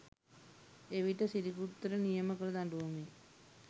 එවිට සිරිගුත්තට නියම කළ දඬුවමෙ